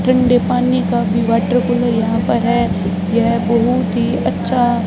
ठंडे पानी का भी वॉटर कूलर यहां पर है यह बहुत ही अच्छा--